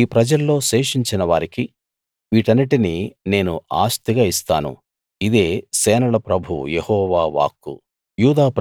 ఈ ప్రజల్లో శేషించిన వారికి వీటన్నిటిని నేను ఆస్తిగా ఇస్తాను ఇదే సేనల ప్రభువు యెహోవా వాక్కు